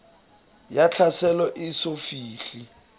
ya tlhaselo e eso fihle